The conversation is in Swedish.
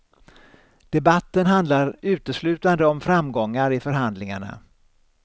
Debatten handlar uteslutande om framgångar i förhandlingarna.